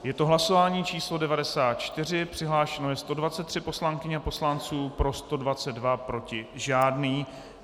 Je to hlasování číslo 94, přihlášeno je 123 poslankyň a poslanců, pro 122, proti žádný.